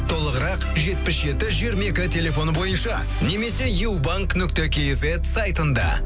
толығырақ жетпіс жеті жиырма екі телефоны бойынша немесе юбанк нүкте кизет сайтында